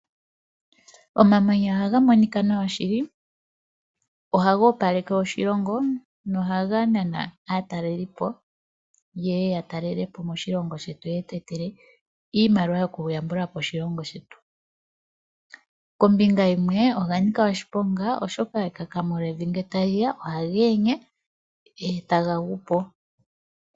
Omamanya ohaga monika nawa shili. Ohaga opaleke oshilongo nohaga nana aataleli po, yeye ya talele po moshilongo shetu, yo yetu etele iimaliwa yoku yambula po oshilongo shetu. Kombinga yimwe oga nika oshiponga, oshoka ekakamo lyevi ngele ta li ya ohaga yenye, e taga gu po.